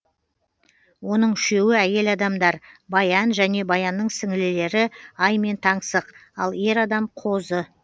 оның үшеуі әйел адамдар баян және баянның сіңлілері ай мен таңсық ал ер адам қозы